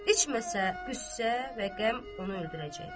İçməsə, qüssə və qəm onu öldürəcək.